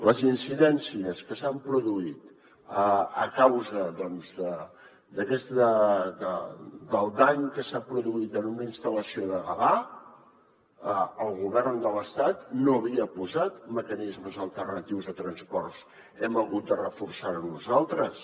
les incidències que s’han produït a causa del dany que s’ha produït en una instal·lació de gavà el govern de l’estat no havia posat mecanismes alternatius de transport hem hagut de reforçar ho nosaltres